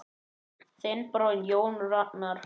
Þinn bróðir, Jón Ragnar.